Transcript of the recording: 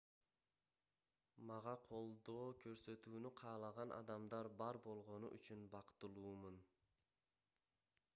мага колдоо көрсөтүүнү каалаган адамдар бар болгону үчүн бактылуумун